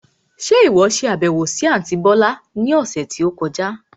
Ṣe ìwọ ṣe àbẹ̀wò sì àntí bọ̀lá lópin ọ̀sẹ̀ tó kọjá?